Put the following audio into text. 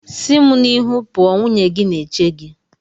Si mu n'iru pụọ! nwunye gị na-eche gị.